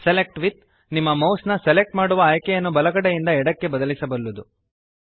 select with ನಿಮ್ಮ mouse ನ select ಮಾಡುವ ಆಯ್ಕೆಯನ್ನು ಬಲಗಡೆಯಿಂದ ಎಡಕ್ಕೆ ಬದಲಿಸಬಲ್ಲದು